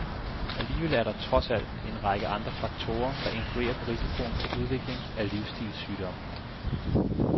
Alligevel er der, trods alt, en række andre faktorer, der influerer på risikoen for udvikling af livsstilssygdomme.